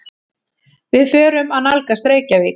Við förum að nálgast Reykjavík.